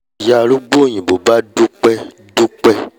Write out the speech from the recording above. ìyá arúgbó òyìnbó bá dúpẹ́ dúpẹ́